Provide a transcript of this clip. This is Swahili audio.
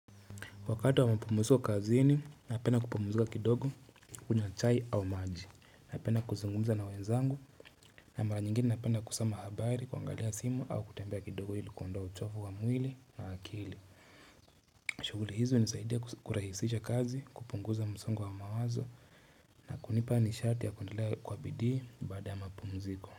Wakati wa mpumuziko kazini na penda kupumuzika kidogo kunywa chai au maji napenda kuzungumza na wenzangu na mara nyingine napenda kusoma habari kuangalia simu au kutembea kidogo ili kuondoa uchofu wa mwili na akili. Shughuli hizo hunisaidia kurahisisha kazi kupunguza msongo wa mawazo na kunipa nishati ya kuendelea kwa bidii baada ya mapumziko.